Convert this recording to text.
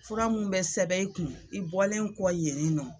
Fura mun bɛ sɛbɛn in kun i bɔlen kɔ yenni nɔ.